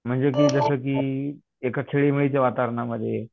म्हणजे ते जसं की एका वातावरणामध्ये